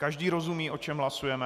Každý rozumí, o čem hlasujeme?